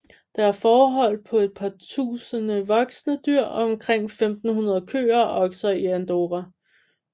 Der er fårehold på et par tusinde voksne dyr og omkring 1500 køer og okser i Andorra